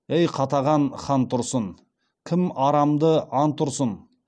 ей қатаған хан тұрсын кім арамды ант ұрсын